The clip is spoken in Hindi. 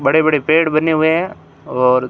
बड़े बड़े पेड़ बने हुए हैं और--